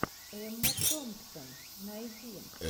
эмма томпсон найди